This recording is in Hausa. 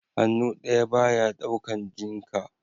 Hannu ɗaya ba ya ɗaukan jinka